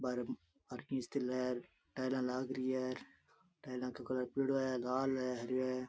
बाहरे टायला लाग री है टायला को कलर पिलो है लाल है हरियो है।